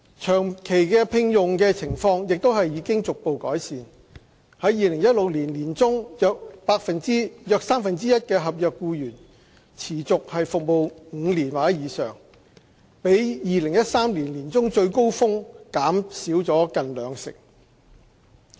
長期聘用的情況亦已逐步改善 ，2016 年年中約三分之一合約僱員持續服務5年或以上，比2013年年中最高峰減少近兩成。